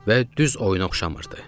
Və düz oyuna oxşamırdı.